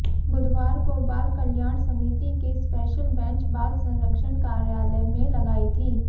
बुधवार को बाल कल्याण समिति की स्पेशल बैंच बाल संरक्षण कार्यालय में लगाई थी